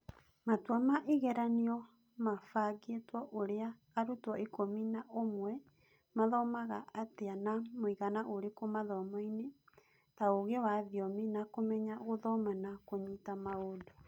Matua ma igeranio mabangĩtwo ũrĩa arutwo ikũmi na ũmwe mathomaga atĩa na mũigana ũrĩkũ mathomoini, ta ũgĩ wa thiomi, na kũmenya gũthoma na kũnyita maũndũ.